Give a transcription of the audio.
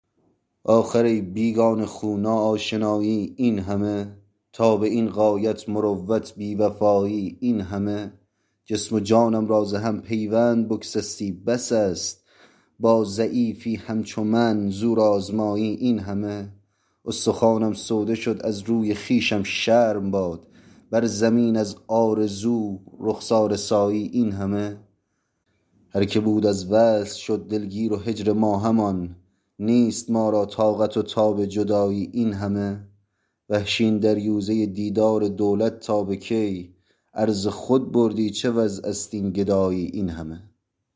آخر ای بیگانه خو ناآشنایی اینهمه تا به این غایت مروت بیوفایی اینهمه جسم و جانم را زهم پیوند بگسستی بس است با ضعیفی همچو من زور آزمایی اینهمه استخوانم سوده شد از روی خویشم شرم باد بر زمین از آرزو رخساره سایی اینهمه هر که بود از وصل شد دلگیر و هجر ما همان نیست ما را طاقت و تاب جدایی اینهمه وحشی این دریوزه دیدار دولت تا به کی عرض خود بردی چه وضعست این گدایی اینهمه